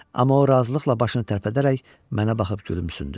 Amma o razılıqla başını tərpədərək mənə baxıb gülümsündü.